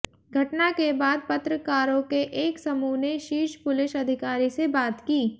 घटना के बाद पत्रकारों के एक समूह ने शीर्ष पुलिस अधिकारी से बात की